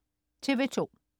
TV2: